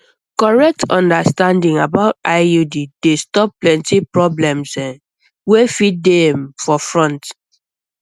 correct understanding about iud dey stop plenty problems wey fit dey um for um front